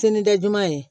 Sinijuman ye